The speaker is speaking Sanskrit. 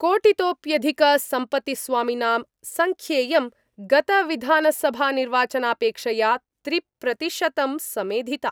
कोटितोप्यधिकसम्पत्तिस्वामिनां संख्येयं गतविधानसभानिर्वाचनापेक्षया त्रिप्रतिशतं समेधिता।